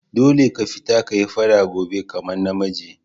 Dolle ka fita ka yi fada gobe kaman na miji!